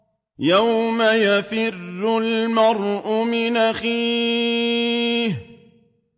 يَوْمَ يَفِرُّ الْمَرْءُ مِنْ أَخِيهِ